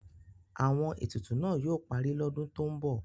Àwọn etutu náà yóò parí lọ́dún tó ń bọ̀.